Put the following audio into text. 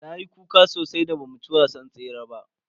Nayi kuka sosai da ba mu ci gasar tsere ba.